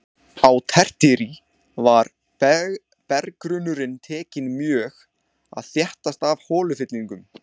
Á tertíer var berggrunnurinn tekinn mjög að þéttast af holufyllingum.